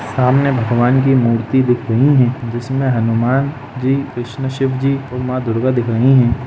सामने भगवान की मूर्ति दिख रही है जिसमें हनुमान जी कृष्णा शिव जी माँ दुर्गा दिख रही है।